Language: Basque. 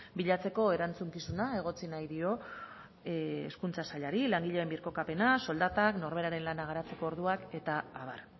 bilatzeko erantzukizuna egotzi nahi dio hezkuntza sailari langileen birkokapena soldatak norberaren lana garatzeko orduak eta abar